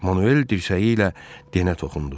Manuel dirsəyi ilə Denə toxundu.